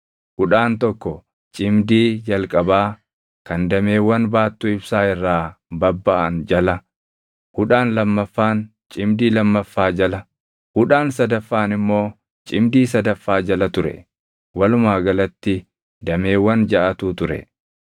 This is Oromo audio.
Hudhaan tokko cimdii jalqabaa kan dameewwan baattuu ibsaa irraa babbaʼan jala, hudhaan lammaffaan cimdii lammaffaa jala, hudhaan sadaffaan immoo cimdii sadaffaa jala ture. Walumaa galatti dameewwan jaʼatu ture.